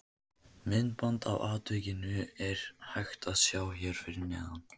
Myndband af atvikinu er hægt að sjá hér fyrir neðan.